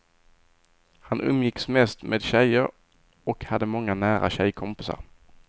Han umgicks mest med tjejer och hade många nära tjejkompisar.